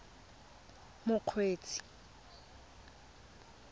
mokgweetsi